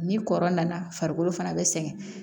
Ni kɔrɔ nana farikolo fana bɛ sɛgɛn